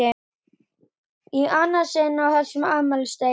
Í annað sinn á þessum afmælisdegi!